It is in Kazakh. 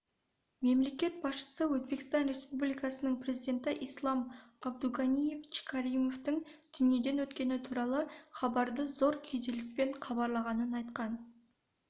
мемлекет басшысы өзбекстан республикасының президенті ислам абдуганиевич каримовтің дүниеден өткені туралы хабарды зор күйзеліспен қабылдағанын айтқан